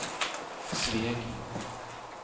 Sveg